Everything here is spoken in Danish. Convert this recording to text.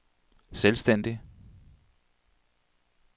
selvstændig